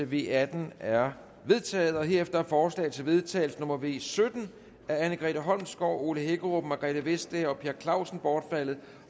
v atten er vedtaget herefter er forslag til vedtagelse nummer v sytten af anne grete holmsgaard ole hækkerup margrethe vestager og per clausen bortfaldet